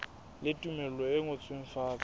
le tumello e ngotsweng fatshe